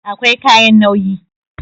Akwai kayan nauyi